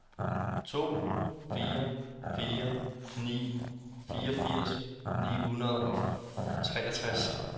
to fire fire ni fireogfirs ni hundrede og treogtres